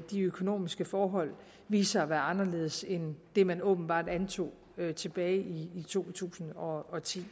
de økonomiske forhold viste sig at være anderledes end det man åbenbart antog tilbage i to tusind og ti